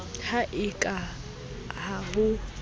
ha e ka ha ho